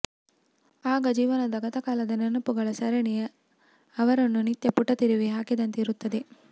ಆಗ ಜೀವನದ ಗತಕಾಲದ ನೆನಪುಗಳ ಸರಣಿ ಅವರನ್ನು ನಿತ್ಯ ಪುಟ ತಿರುವಿ ಹಾಕಿದಂತೆ ಇರುತ್ತದೆ